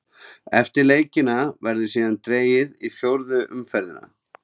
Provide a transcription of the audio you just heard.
Eftir leikina verður síðan dregið í fjórðu umferðina.